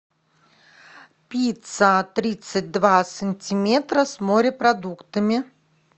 пицца тридцать два сантиметра с морепродуктами